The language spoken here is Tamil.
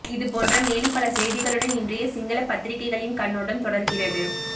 இது போன்ற மேலும் பல செய்திகளுடன் இன்றைய சிங்கள பத்திரிகைகளின் கண்ணோட்டம் தொடர்கிறது